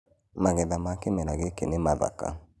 magetha ma kĩmera gĩĩkĩ nĩ mathaka